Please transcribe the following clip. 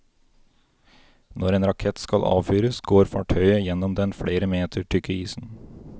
Når en rakett skal avfyres, går fartøyet gjennom den flere meter tykke isen.